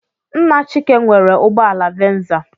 Nna Chike nwere ụgbọala venza.